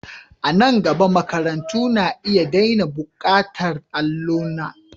A nan gaba, makarantu na iya daina buƙatar allona.